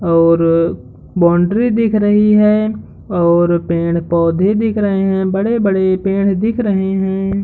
और बाउंड्री दिख रही है और पेड़-पौधे दिख रहे हैं बड़े-बड़े पेड़ दिख रहे हैं।